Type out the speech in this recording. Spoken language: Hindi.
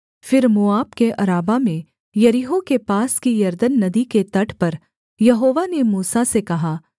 फिर मोआब के अराबा में यरीहो के पास की यरदन नदी के तट पर यहोवा ने मूसा से कहा